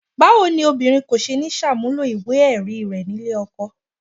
Báwo ni obìnrin kò ṣe ní ṣàmúlò ìwé-ẹ̀rí rẹ̀ nílé ọkọ?